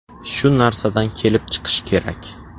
Shu narsadan kelib chiqish kerak.